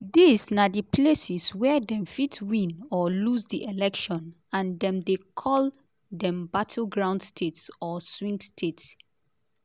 dis na di places wia dem fit win or lose di election and dem dey call dem battleground states or swing states.